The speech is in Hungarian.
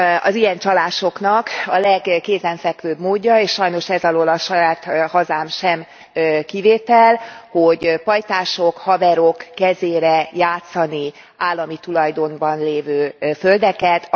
Az ilyen csalásoknak a legkézenfekvőbb módja, és sajnos ez alól a saját hazám sem kivétel, hogy pajtások, haverok kezére játsszák az állami tulajdonban lévő földeket.